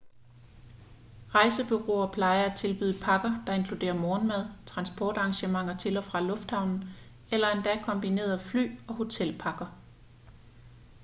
rejsebureauer plejer at tilbyde pakker der inkluderer morgenmad transportarrangementer til/fra lufthavnen eller endda kombinerede fly- og hotelpakker